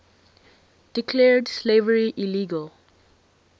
declared slavery illegal